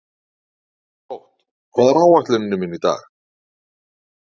Drótt, hvað er á áætluninni minni í dag?